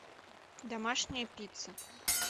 домашняя пицца